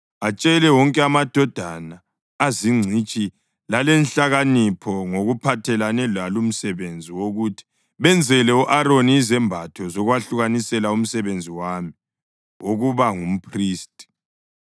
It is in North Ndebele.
Atshele wonke amadoda azingcitshi lalenhlakanipho ngokuphathelane lalumsebenzi wokuthi benzele u-Aroni izembatho zokwahlukanisela umsebenzi wami wokuba ngumphristi.